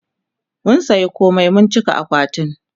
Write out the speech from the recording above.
mun saya komai mun cika akwatin